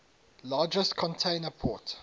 largest container port